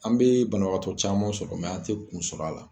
An bee banabagatɔw camanw sɔrɔ mɛ an te kun sɔrɔrɔ a la